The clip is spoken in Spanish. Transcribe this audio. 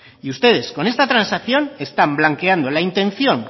y ustedes con esta transacción están blanqueando la intención